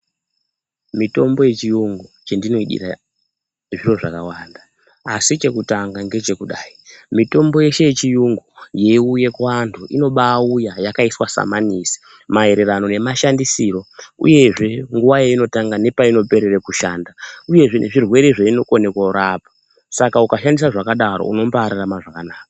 Mitombo yechiyungu chendinoidira zviro zvakawanda asi chekutanga ngechekudayi mitombo yeshe yechiyungu yeiuya kuantu inobaauya yakaiswe samanisi maererano nemashandisiro uyezve nguwa yainotanga nepainoperere kushanda uyezve zvirwere zvainokone kurapa. Saka ukaishandisa zvakadaro unombaararama zvakanaka.